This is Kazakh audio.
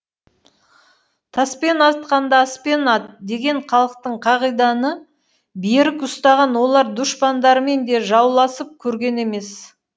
таспен атқанды аспен ат деген халықтық қағиданы берік ұстаған олар дұшпандарымен де жауласып көрген емес